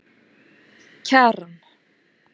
Kjaran